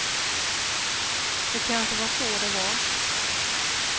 Det kanske var så det var.